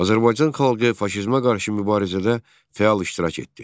Azərbaycan xalqı faşizmə qarşı mübarizədə fəal iştirak etdi.